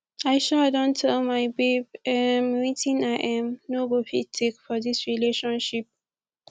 i um don tell my babe um wetin i um no go fit take for dis relationship